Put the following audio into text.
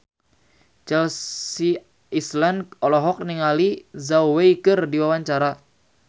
Chelsea Islan olohok ningali Zhao Wei keur diwawancara